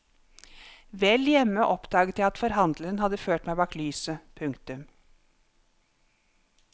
Vel hjemme oppdaget jeg at forhandleren hadde ført meg bak lyset. punktum